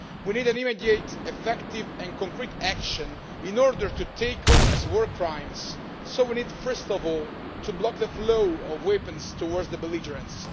We need immediate and effective concrete action in order to tackle these war crimes, so we need first of all to block the flow of weapons towards the belligerents.